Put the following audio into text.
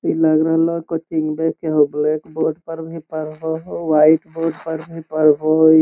लाग रहलो कोई ब्लैक बोर्ड मे भी पढ़ हो अ वाइट बोर्ड मे भी पढ़ हो |